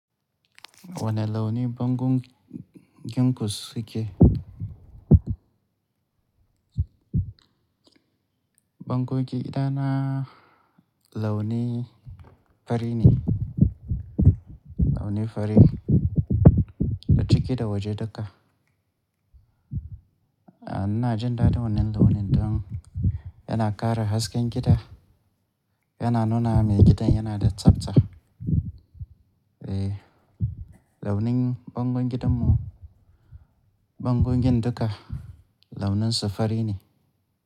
Wane launi bangon gin kus suke? Bangon gida na launi fari ne, launi fari da ciki da waje duka. A ina jin daɗin wannan launin don yana ƙara hasken gida, yana nuna mai gidan yana da tsabta. Eh, launin bangon gidan mu, bangon gin duka launin su fari ne.